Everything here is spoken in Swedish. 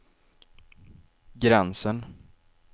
gränsen